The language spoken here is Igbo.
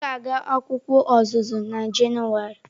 M ga-aga akwụkwọ ọzụzụ na Jenụwarị.